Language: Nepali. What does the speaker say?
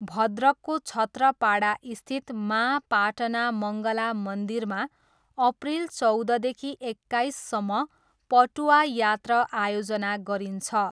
भद्रकको छत्रपाडास्थित माँ पाटना मङ्गला मन्दिरमा अप्रिल चौधदेखि एक्काइससम्म पटुआ यात्रा आयोजना गरिन्छ।